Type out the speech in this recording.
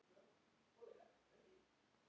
Eru fílar hræddir við mýs?